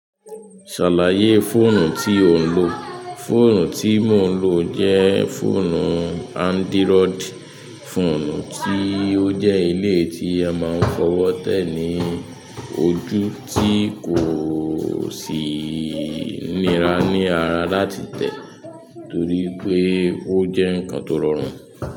Ṣàlàyé fọ́ọ̀nù tí ò ń lò. Fóònù tí mò ń lò jẹ́ fóònù Android. Fóònù tí ó jẹ́ iléyi tí a máa ń fọwọ́ tẹ̀ ní ojú tí kò sì nira ní ara láti tẹ̀ torí pé ó jẹ́ nǹkan tó rọrùn.